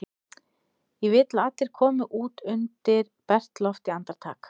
Ég vil að allir komi út undir bert loft í andartak!